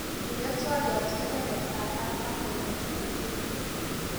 inde twolyot kebebertab artam kongeten inguni